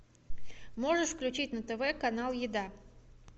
можешь включить на тв канал еда